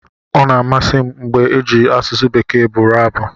Ọ na-amasị m mgbe ejiri asụsụ Bekee bụrụ abụ.